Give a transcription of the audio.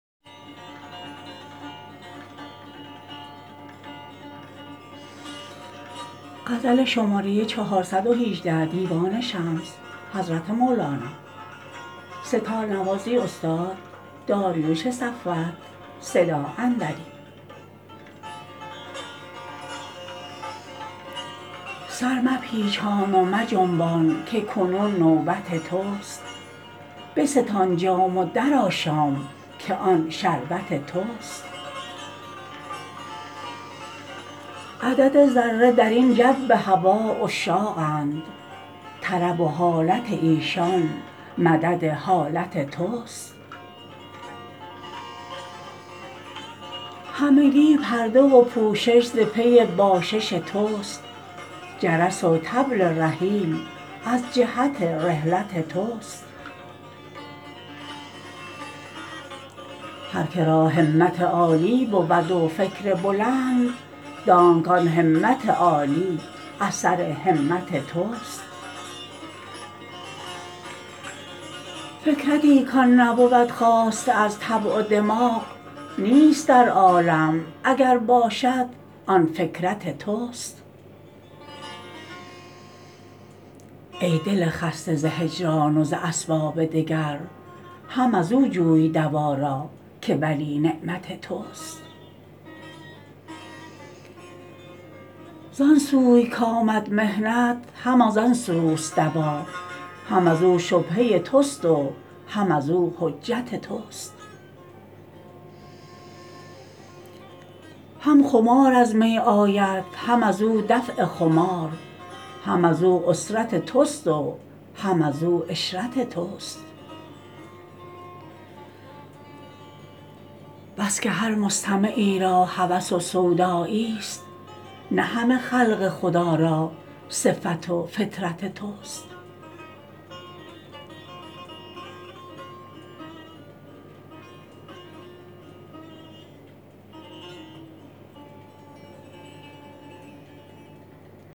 سر مپیچان و مجنبان که کنون نوبت توست بستان جام و درآشام که آن شربت توست عدد ذره در این جو هوا عشاقند طرب و حالت ایشان مدد حالت توست همگی پرده و پوشش ز پی باشش تو است جرس و طبل رحیل از جهت رحلت توست هر که را همت عالی بود و فکر بلند دانک آن همت عالی اثر همت توست فکرتی که آن نبود خاسته از طبع و دماغ نیست در عالم اگر باشد آن فکرت توست ای دل خسته ز هجران و ز اسباب دگر هم از او جوی دوا را که ولی نعمت توست ز آن سوی کآمد محنت هم از آن سو است دوا هم از او شبهه تو است و هم از او حجت توست هم خمار از می آید هم از او دفع خمار هم از او عسرت تو است و هم از او عشرت توست بس که هر مستمعی را هوس و سودا یی ست نه همه خلق خدا را صفت و فطرت توست